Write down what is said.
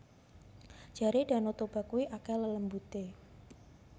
Jare Danau Toba kui akeh lelembute